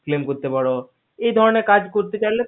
এই ধরণের কাজ গুলো করতেচাইলে cleme করতে পারো